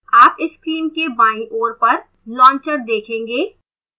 आप screen के बाईं ओर पर launcher देखेंगे